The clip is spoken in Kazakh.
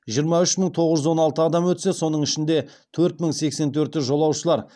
жиырма үш мың тоғыз жүз он алты адам өтсе соның төрт мың сексен төрті жолаушылар